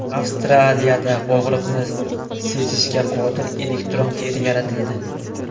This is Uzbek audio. Avstraliyada og‘riqni sezishga qodir elektron teri yaratildi.